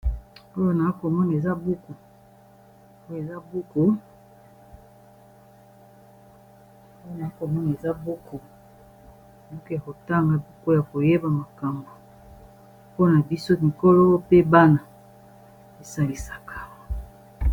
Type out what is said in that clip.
Oyo na akomona eza buku buke kotanga buko ya koyeba makambo mpona biso mikolo pe bana esalisaka